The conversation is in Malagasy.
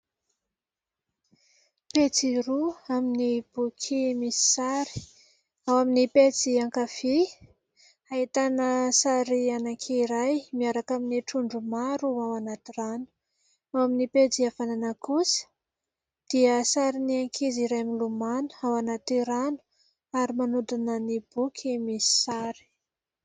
Pejy roa amin'ny boky roa misy sary. Ao amin'ny pejy ankavia, ahitana sary anankiray miaraka amin'ny trondro maro ao anaty rano, ao amin'ny pejy havanana kosa dia sarin'ny ankizy iray milomano ao anaty rano ary manodina ny boky misy sary.